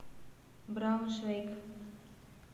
брауншвейг